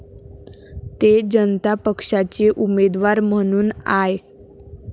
ते जनता पक्षाचे उमेदवार म्हणून आय.